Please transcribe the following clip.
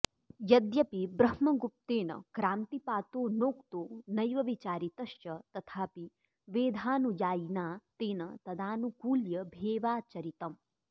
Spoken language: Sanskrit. यद्यपि ब्रह्मगुप्तेन क्रान्तिपातो नोक्तो नैव विचारितश्च तथापि वेधानुयायिना तेन तदानुकूल्यभेवाचरितम्